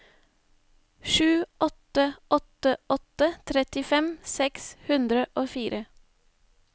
sju åtte åtte åtte trettifem seks hundre og fire